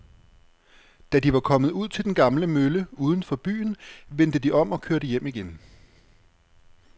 Da de var kommet ud til den gamle mølle uden for byen, vendte de om og kørte hjem igen.